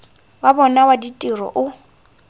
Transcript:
wa bona wa ditiro o